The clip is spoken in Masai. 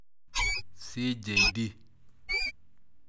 CJD.